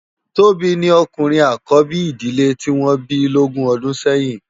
Tobi ni òkúrin ákòbi idilè ti wòn bi lógùn òdún sèyin